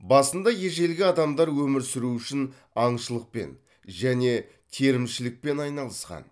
басында ежелгі адамдар өмір сүру үшін аңшылықпен және терімшілікпен айналысқан